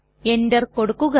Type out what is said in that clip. enter കൊടുക്കുക